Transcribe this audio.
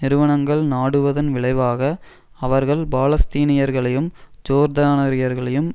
நிறுவனங்கள் நாடுவதன் விளைவாக அவர்கள் பாலஸ்தீனியர்களையும் ஜோர்தானியர்களையும்